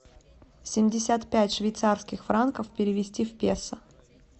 семьдесят пять швейцарских франков перевести в песо